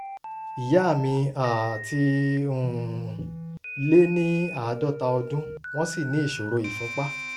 ìyá mi um ti um lé ní àádọ́ta ọdún wọ́n sì ní ìṣòro ìfúnpá